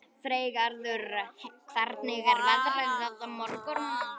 Freygarður, hvernig er veðrið á morgun?